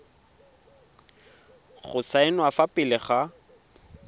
go saenwa fa pele ga